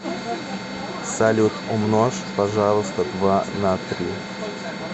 салют умножь пожалуйста два на три